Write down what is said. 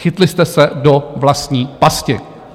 Chytli jste se do vlastní pasti.